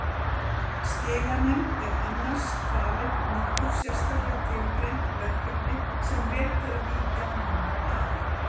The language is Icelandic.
Skilanefnd er annars falin nokkur sérstaklega tilgreind verkefni sem rétt er að víkja nánar að